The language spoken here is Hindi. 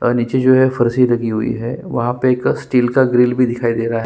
और नीचे जो है फरसी लगी हुई है वहाँ पे एक स्टील का ग्रिल भी दिखाई दे रहा है।